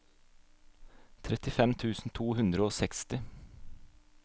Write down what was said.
trettifem tusen to hundre og seksti